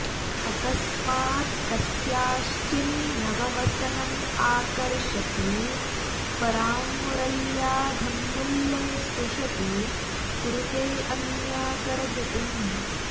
अकस्मात् कस्याश्चिन् नववसनमाकर्षति परां मुरल्या धम्मिल्ले स्पृशति कुरुतेऽन्याकरधृतिम्